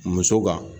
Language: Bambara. Muso kan